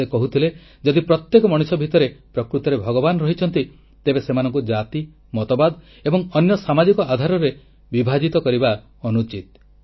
ସେ କହୁଥିଲେ ଯଦି ପ୍ରତ୍ୟେକ ମଣିଷ ଭିତରେ ପ୍ରକୃତରେ ଭଗବାନ ରହିଛନ୍ତି ତେବେ ସେମାନଙ୍କୁ ଜାତି ମତବାଦ ଏବଂ ଅନ୍ୟ ସାମାଜିକ ଆଧାରରେ ବିଭାଜିତ କରିବା ଅନୁଚିତ